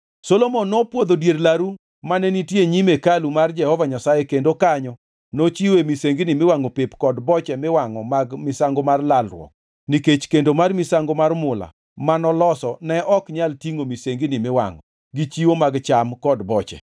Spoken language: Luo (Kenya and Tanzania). Solomon nopwodho dier laru mane nitie e nyim hekalu mar Jehova Nyasaye kendo kanyo nochiwoe misengini miwangʼo pep kod boche miwangʼo mag misango mar lalruok nikech kendo mar misango mar mula manoloso ne ok nyal tingʼo misengini miwangʼo, gi chiwo mag cham kod boche.